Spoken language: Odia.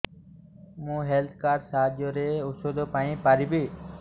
ମୁଁ ହେଲ୍ଥ କାର୍ଡ ସାହାଯ୍ୟରେ ଔଷଧ ପାଇ ପାରିବି